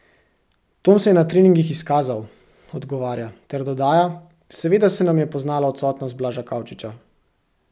Tom se je na treningih izkazal," odgovarja ter dodaja: "Seveda se nam je poznala odsotnost Blaža Kavčiča.